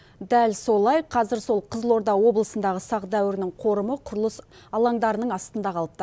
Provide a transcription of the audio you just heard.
дәл солай қазір сол қызылорда облысындағы сақ дәуірінің қорымы құрылыс алаңдарының астында қалыпты